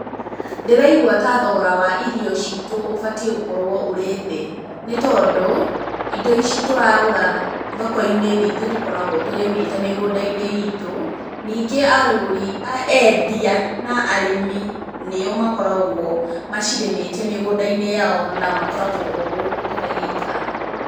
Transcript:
Ndĩraigua ta thogora wa irio ciitũ ũbatiĩ gũkorwo ũrĩ thĩ. Nĩ tondũ, indo ici tũragũra thoko-inĩ nĩ ithuĩ tũkoragwo tũrĩmĩte mĩgũnda-inĩ itũ. Ningĩ agũri eendia na arĩmi, nĩo makoragwo macirĩmĩte mĩgũnda-inĩ yao na makoragwo o gũkũ tũragĩikara.